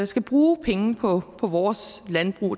skal bruge penge på vores landbrug